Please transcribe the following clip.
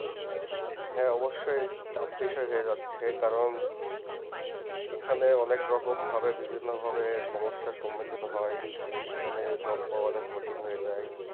হ্যা অবশ্যই tough বিষয় হয়ে যাচ্ছে কারণ এখানে অনেক রকমে ভাবে বিভীন্ন ভাবে সমস্যা সামধিত হয় এখানে job পাওয়া অনেক কঠিন হয়ে যায়